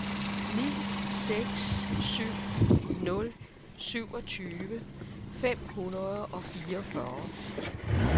ni seks syv nul syvogtyve fem hundrede og fireogfyrre